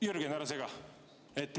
Jürgen, ära sega!